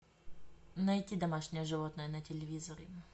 найти домашнее животное на телевизоре